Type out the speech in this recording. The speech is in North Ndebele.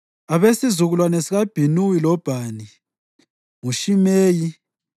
Abesizukulwane sikaBhinuwi loBhani: nguShimeyi,